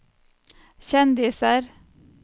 kjendiser